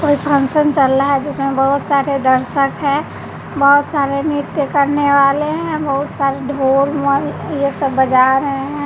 कोई फंक्शन चल रहा है जिसमें बहुत सारे दर्शक हैं बहुत सारे नृत्य करने वाले हैं बहुत सारे ढोल मल ये सब बजा रहे हैं।